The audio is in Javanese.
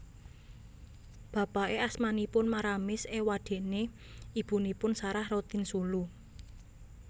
Bapake asmanipun Maramis ewadene ibunipun Sarah Rotinsulu